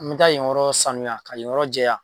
Nga yen yɔrɔ sanuya ka yen yɔrɔ jɛya.